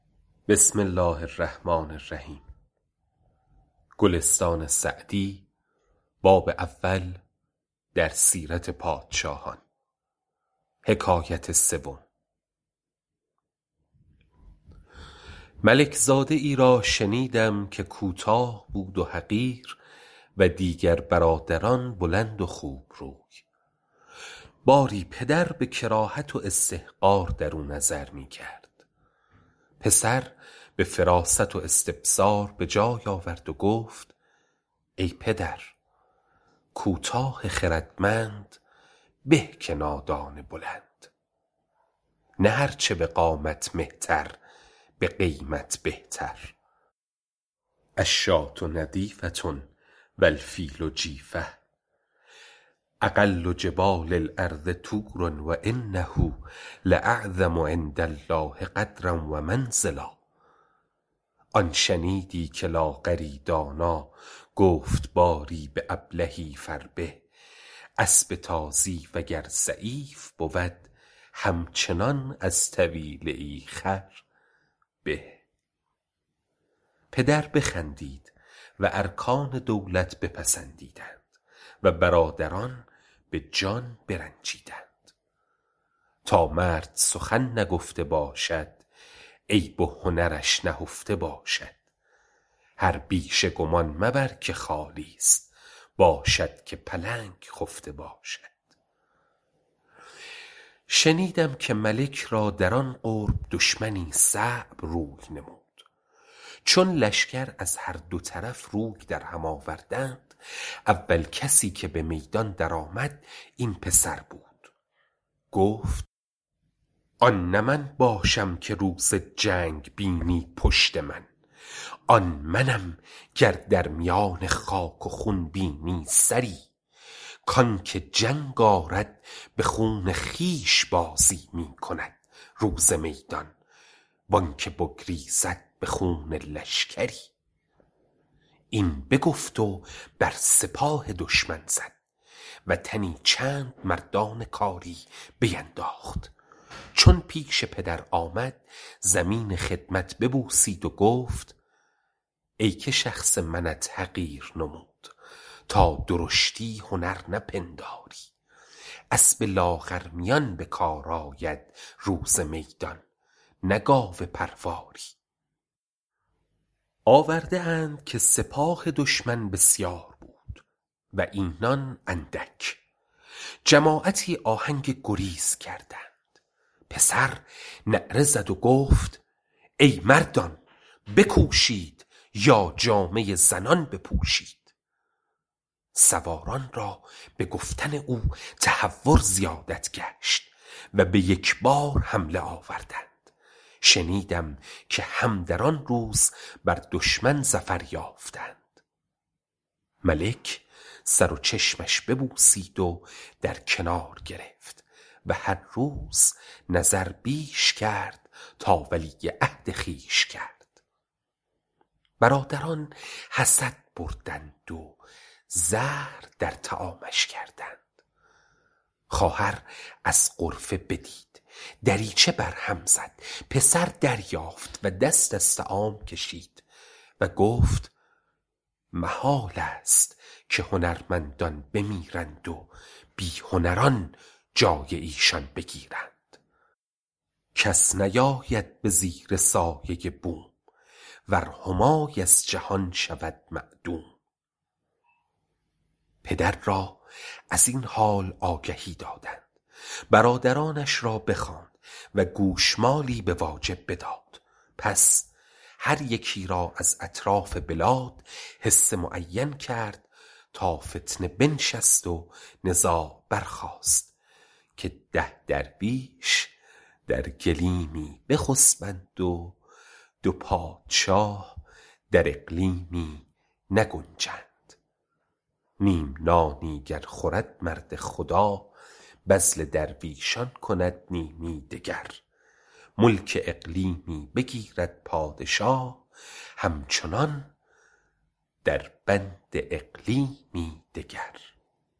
ملک زاده ای را شنیدم که کوتاه بود و حقیر و دیگر برادران بلند و خوب روی باری پدر به کراهت و استحقار درو نظر می کرد پسر به فراست و استبصار به جای آورد و گفت ای پدر کوتاه خردمند به که نادان بلند نه هر چه به قامت مهتر به قیمت بهتر الشاة نظیفة و الفیل جیفة اقل جبال الارض طور و انه لاعظم عندالله قدرا و منزلا آن شنیدی که لاغری دانا گفت باری به ابلهی فربه اسب تازی وگر ضعیف بود همچنان از طویله ای خر به پدر بخندید و ارکان دولت پسندیدند و برادران به جان برنجیدند تا مرد سخن نگفته باشد عیب و هنرش نهفته باشد هر پیسه گمان مبر نهالی باشد که پلنگ خفته باشد شنیدم که ملک را در آن قرب دشمنی صعب روی نمود چون لشکر از هر دو طرف روی در هم آوردند اول کسی که به میدان در آمد این پسر بود گفت آن نه من باشم که روز جنگ بینی پشت من آن منم گر در میان خاک و خون بینی سری کانکه جنگ آرد به خون خویش بازی می کند روز میدان و آن که بگریزد به خون لشکری این بگفت و بر سپاه دشمن زد و تنی چند مردان کاری بینداخت چون پیش پدر آمد زمین خدمت ببوسید و گفت ای که شخص منت حقیر نمود تا درشتی هنر نپنداری اسب لاغرمیان به کار آید روز میدان نه گاو پرواری آورده اند که سپاه دشمن بسیار بود و اینان اندک جماعتی آهنگ گریز کردند پسر نعره زد و گفت ای مردان بکوشید یا جامه زنان بپوشید سواران را به گفتن او تهور زیادت گشت و به یک بار حمله آوردند شنیدم که هم در آن روز بر دشمن ظفر یافتند ملک سر و چشمش ببوسید و در کنار گرفت و هر روز نظر بیش کرد تا ولیعهد خویش کرد برادران حسد بردند و زهر در طعامش کردند خواهر از غرفه بدید دریچه بر هم زد پسر دریافت و دست از طعام کشید و گفت محالست که هنرمندان بمیرند و بی هنران جای ایشان بگیرند کس نیاید به زیر سایه بوم ور همای از جهان شود معدوم پدر را از این حال آگهی دادند برادرانش را بخواند و گوشمالی به واجب بداد پس هر یکی را از اطراف بلاد حصه معین کرد تا فتنه بنشست و نزاع برخاست که ده درویش در گلیمی بخسبند و دو پادشاه در اقلیمی نگنجند نیم نانی گر خورد مرد خدا بذل درویشان کند نیمی دگر ملک اقلیمی بگیرد پادشاه همچنان در بند اقلیمی دگر